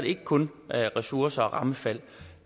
ikke kun ressourcer og rammefald